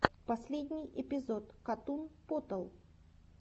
последний эпизод катун потал